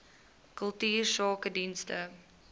kultuursakedienste